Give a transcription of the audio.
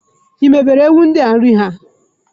Ị mebere ewu ndia nri ha?